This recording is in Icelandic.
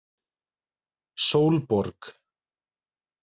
Sólborg